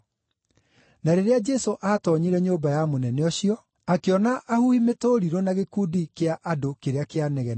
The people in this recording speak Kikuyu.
Na rĩrĩa Jesũ aatoonyire nyũmba ya mũnene ũcio, akĩona ahuhi mĩtũrirũ na gĩkundi kĩa andũ kĩrĩa kĩanegenaga,